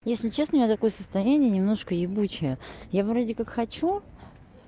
если честно у меня такое состояние немножко ебучее я вроде как хочу